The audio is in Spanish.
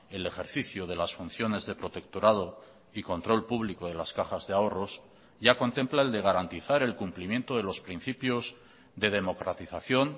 el ejercicio de las funciones de protectorado y control público de las cajas de ahorros ya contempla el de garantizar el cumplimiento de los principios de democratización